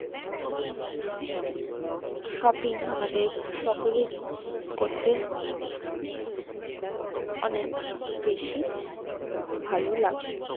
shopping আমাদের সকলেরই করতে অনেক বেশি ভালো লাগে